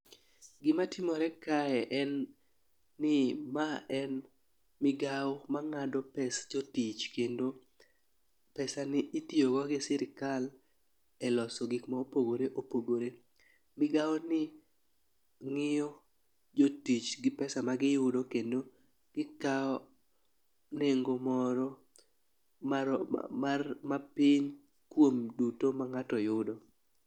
Gima timore kae en ni ma en migawo ma ng'ado pes jotich kendo pesa ni itiyo go gi sirikal e loso gik ma opogore opogore .Migawo ni ng'iyo jotich gi pesa ma giyudo kendo gikawo nengo moro mar mar mapiny kuom duto ma ng'ato yudo.